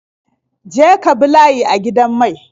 Je ka bi layi a gidan mai.